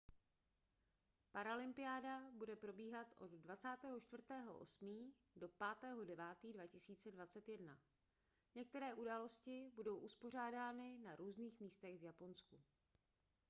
paralympiáda bude probíhat od 24. 8. do 5. 9. 2021. některé události budou uspořádány na různých místech v japonsku